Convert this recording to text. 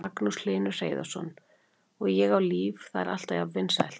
Magnús Hlynur Hreiðarsson: Og Ég á líf, það er alltaf jafn vinsælt?